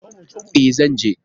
E, zan je.